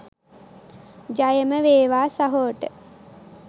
ජයම වේවා සහෝට .